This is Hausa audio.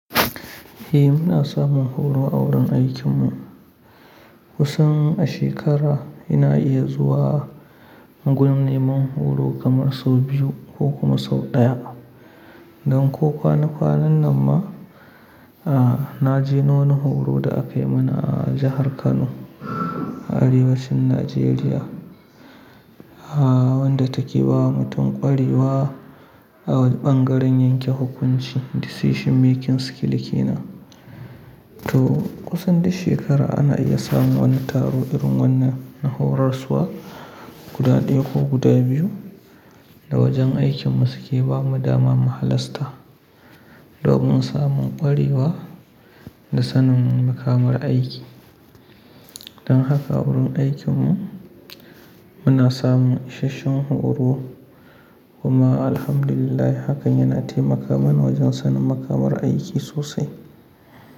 Eh muna samun horo a wurin aikinmu. Kusan a shekara ina iya zuwa gunin neman horo kamar sau biyu ko kuma sau ɗaya. Don ko kwanakwanan nan ma, aa na je ni wani horo da akai mana a jahar Kano a arewacin Najeriya, aa wanda take ba mutun ƙwarewa a ɓangaren yanke hukunci, decision making skill ke nan. To kusan duk shekara ana iya samun wani taro irin wannan na horaswa guda ɗaya ko guda biyu da wajen aikinmu suke ba mu dama mu halasta. Domin samun ƙwarewa da sanin makamar aiki. Don haka wurin aikinmu muna samun ishasshen horo kuma Alhamdulillah hakan yana taimaka mana wajen sanin makamar aiki sosai.